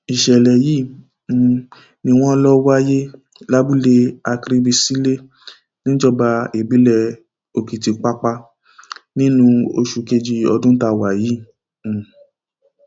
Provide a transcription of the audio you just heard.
ìṣẹlẹ yìí um ni wọn lọ wáyé lábúlé akribasilẹ níjọba ìbílẹ òkìtìpápá nínú oṣù kejì ọdún tá wà yìí um